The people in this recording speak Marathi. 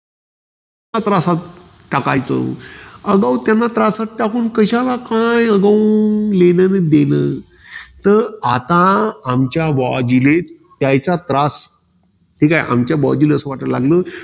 त्या त्रासात टाकायचं? अगो, त्याला त्रासात टाकून कशाला काय अगो? लेणं न देणं. त आता आमच्या बोजीले, त्यायचा त्रास. म्हणजे आमच्या भावजीले असं वाटला लागलं.